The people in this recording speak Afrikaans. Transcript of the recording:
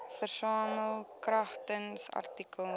versamel kragtens artikel